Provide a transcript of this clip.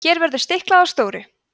hér verður að stikla á stóru